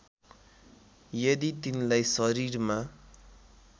यदि तिनलाई शरीरमा